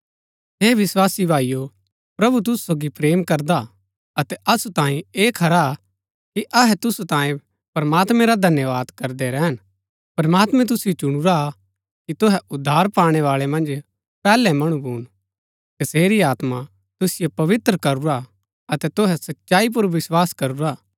हे विस्वासी भाईओ प्रभु तुसु सोगी प्रेम करदा हा अतै असु तांये ऐह खरा हा कि अहै तुसु तांये प्रमात्मैं रा धन्यवाद करदै रैहन प्रमात्मैं तुसिओ चुणुरा हा कि तुहै उद्धार पाणै बाळै मन्ज पैहलै मणु भून तसेरी आत्मा तुसिओ पवित्र करूरा हा अतै तुहै सच्चाई पुर विस्वास करूरा हा